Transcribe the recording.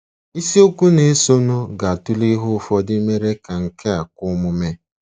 Isiokwu na-esonụ ga-atụle ihe ụfọdụ mere ka nke a kwe omume.